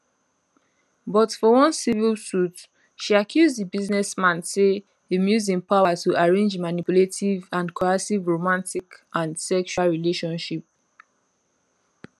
but for one civil suit she accuse di business man say im use im power to arrange manipulative and coercive romantic and sexual relationship